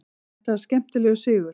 Þetta var skemmtilegur sigur.